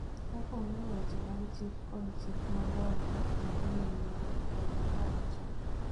kaka ong�eyo weche mag chik kod chik madongo ma ni e nyime,� Raila nowacho.